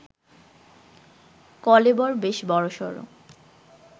কলেবর বেশ বড়সড়